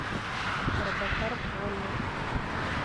робокар полли